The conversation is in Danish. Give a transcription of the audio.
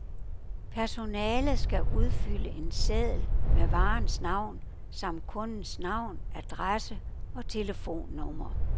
Personalet skal udfylde en seddel med varens navn samt kundens navn, adresse og telefonnummer.